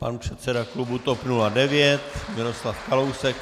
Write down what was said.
Pan předseda klubu TOP 09 Miroslav Kalousek.